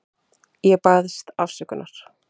Ég baðst afsökunar.